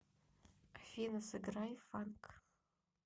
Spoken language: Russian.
афина сыграй фанк